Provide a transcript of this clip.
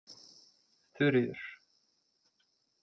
Þuríður